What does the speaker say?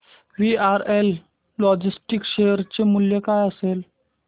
VRL logistics share चे मूल्य काय असेल